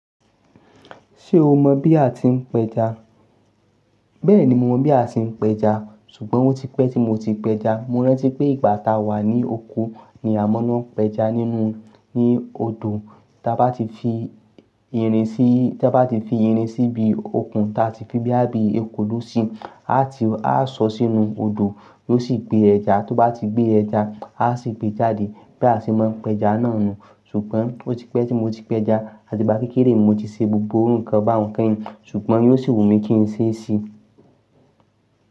Ṣé o mọ̀ bí a ti ń p'ẹja? Bẹ́ẹ̀ni mo mọ̀ bí a ti ń p'ẹja, ṣùgbọ́n ó ti pẹ́ tí mo ti p'ẹja. Mo rántí pé ìgbà táa wà ní oko ni a máa lọ pẹja nínú, ní odò. Tí a bá ti fi irin síí, tí a bá ti fi irin sí ibi okùn, tí a sì fi bíá bíi ekòló síi, a ti, a sọ sínú odò, yóò sì gbé ẹja. Tó bá ti gbé ẹja, a sì gbé e jáde. Bí a ṣe máa ń pẹja náà nù. Ṣùgbọ́n ó ti pẹ́ tí mo ti pẹja, àti gbá kékeré mo ti ṣe gbogbo irú ǹkan bá un kẹ́yìn, ṣùgbọ́n yóò sì wù mí kí n ṣe é sì.